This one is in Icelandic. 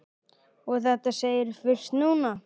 Og þetta segirðu fyrst núna.